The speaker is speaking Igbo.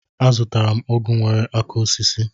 Azụtara m ọgụ nwere aka osisi.